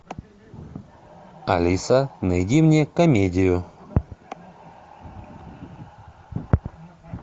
алиса найди мне комедию